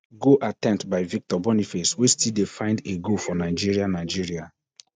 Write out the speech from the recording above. good attemptby victor boniface wey still dey find a goal for nigeria nigeria